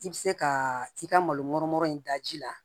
I bɛ se ka i ka malo mɔrɔ in da ji la